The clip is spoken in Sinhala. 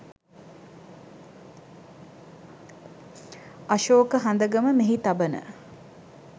අශෝක හඳගම මෙහි තබන